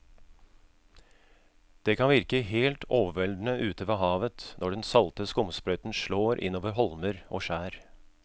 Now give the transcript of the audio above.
Det kan virke helt overveldende ute ved havet når den salte skumsprøyten slår innover holmer og skjær.